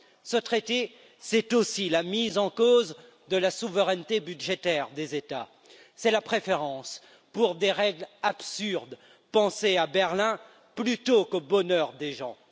Ce traité, c'est aussi la mise en cause de la souveraineté budgétaire des États, c'est la préférence pour des règles absurdes penser à Berlin, plutôt qu'au bonheur des gens